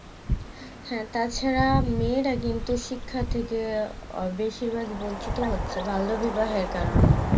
হ্যাঁ, তাছাড়া মেয়েরা কিন্তু শিক্ষার থেকে বেশির ভাগ বঞ্চিত হচ্ছে বাল্য বিবাহের কারণে